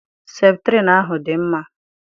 Septrin ahu dị mma.